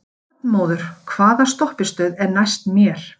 Arnmóður, hvaða stoppistöð er næst mér?